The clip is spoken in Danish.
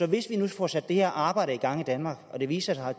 hvis vi nu får sat det her arbejde i gang i danmark og det viser sig at